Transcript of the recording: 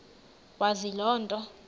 wazi loo nto